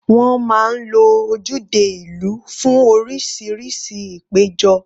Wọ́n máa ń lo ojúde ìlú fún oríṣiríṣi ìpéjọ.